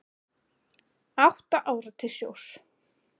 Átta ára til sjós